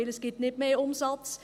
Denn es gibt nicht mehr Umsatz;